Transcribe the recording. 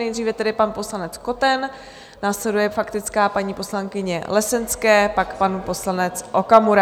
Nejdříve tedy pan poslanec Koten, následuje faktická paní poslankyně Lesenské, pak pan poslanec Okamura.